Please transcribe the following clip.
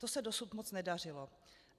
To se dosud moc nedařilo.